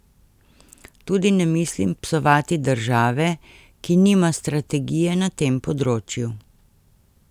Tudi ne mislim psovati države, ki nima strategije na tem področju.